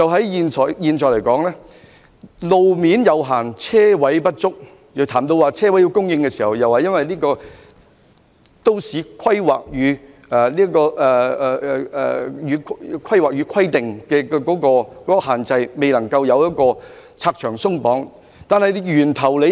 現時的路面有限，車位不足，但在研究車位供應問題時，政府當局卻推說受《香港規劃標準與準則》限制，未能拆牆鬆綁。